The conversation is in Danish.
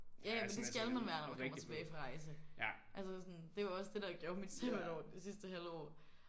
Ja ja men det skal man være når man kommer tilbage fra rejse. Altså sådan det var også det der gjorde mit sabbatår det sidste halve år